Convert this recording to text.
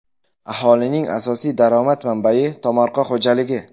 Aholining asosiy daromad manbai tomorqa xo‘jaligi.